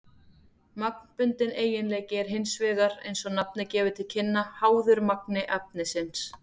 Magnbundinn eiginleiki er hins vegar, eins og nafnið gefur til kynna, háður magni efnisins.